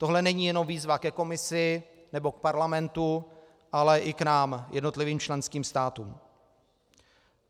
Tohle není jenom výzva ke Komisi nebo k parlamentu, ale i k nám, jednotlivým členským státům.